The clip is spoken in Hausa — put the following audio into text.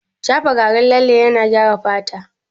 Shafa garin lalle yana gyara fata